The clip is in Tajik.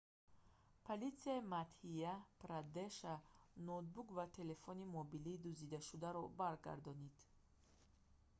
политсияи мадҳя-прадеша ноутбук ва телефони мобилии дуздидашударо баргардонид